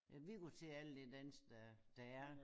Ja vi går til alt det dans der der er